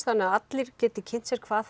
þannig að allir geta kynnt sér hvað